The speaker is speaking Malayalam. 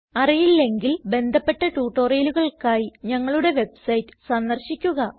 അറിയില്ലെങ്കിൽ ബന്ധപ്പെട്ട ട്യൂട്ടോറിയലുകൾക്കായി ഞങ്ങളുടെ വെബ്സൈറ്റ് സന്ദർശിക്കുക